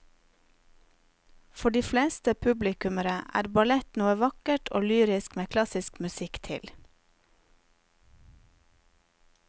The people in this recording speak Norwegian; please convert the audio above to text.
For de fleste publikummere er ballett noe vakkert og lyrisk med klassisk musikk til.